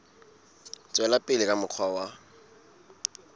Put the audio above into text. tswela pele ka mokgwa wa